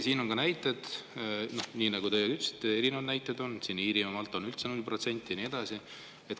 Nagu teiegi ütlesite, siin on erinevaid näiteid: Iirimaal on see määr üldse null protsenti ja nii edasi.